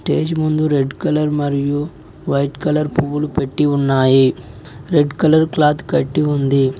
Stage ముందు red colour మరియు white colour పువ్వులు పెట్టి ఉన్నాయి రెడ్ కలర్ క్లాత్ కట్టి ఉంది.